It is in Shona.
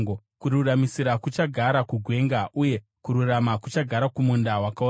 Kururamisira kuchagara kugwenga uye kururama kuchagara kumunda wakaorera.